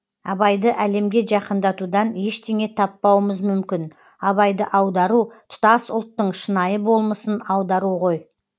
абайды әлемге жақындатудан ештеңе таппауымыз мүмкін абайды аудару тұтас ұлттың шынайы болмысын аудару ғой